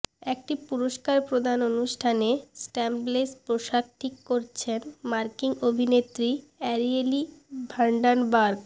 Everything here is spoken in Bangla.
একটি পুরস্কার প্রদান অনুষ্ঠানে স্ট্র্যাপলেস পোশাক ঠিক করছেন মার্কিন অভিনেত্রী অ্যারিয়েলি ভ্যান্ডানবার্গ